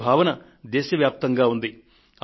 ఇదే భావన దేశవ్యాప్తంగా ఉంది